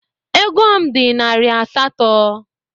Ego m dị narị asatọ.